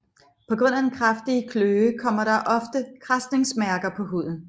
På grund af den kraftige kløe kommer der ofte kradsningsmærker på huden